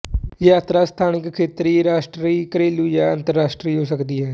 ਯਾਤਰਾ ਸਥਾਨਿਕ ਖੇਤਰੀ ਰਾਸ਼ਟਰੀ ਘਰੇਲੂ ਜਾਂ ਅੰਤਰਰਾਸ਼ਟਰੀ ਹੋ ਸਕਦੀ ਹੈ